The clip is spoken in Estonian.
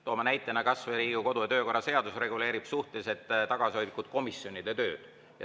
Toome näitena, et kas või Riigikogu kodu‑ ja töökorra seadus reguleerib suhteliselt tagasihoidlikult komisjonide tööd.